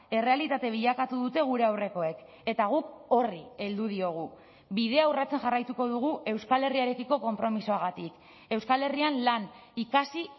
errealitate bilakatu dute gure aurrekoek eta guk horri heldu diogu bidea urratzen jarraituko dugu euskal herriarekiko konpromisoagatik euskal herrian lan ikasi